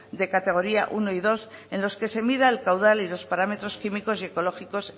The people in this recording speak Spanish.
de categoría uno y dos en los que se mida el caudal y los parámetros químicos y ecológicos